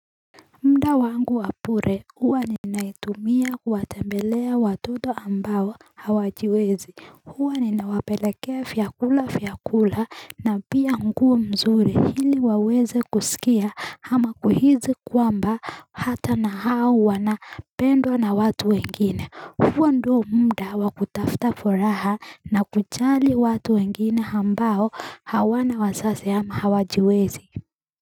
Mda wangu wapure huwa ninaitumia kuwatembelea watoto ambao hawajiwezi huwa ninawapelekea vyakula vya kula na pia nguo mzuri hili waweze kusikia ama kuhizi kwamba hata na hau wana pendwa na watu wengine huo ndio mda wakutafta furaha na kujali watu wengine ambao hawana wazazi ama hawajiwezi.